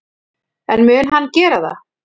En mun hann gera það?